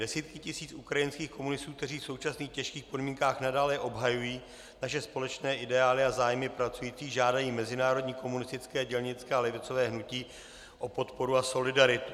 Desítky tisíc ukrajinských komunistů, kteří v současných těžkých podmínkách nadále obhajují naše společné ideály a zájmy pracujících, žádají mezinárodní komunistické, dělnické a levicové hnutí o podporu a solidaritu.